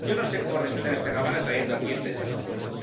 Yo no sé cómo respetan esta Cámara trayendo aquí este chapapote.